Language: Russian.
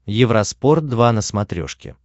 евроспорт два на смотрешке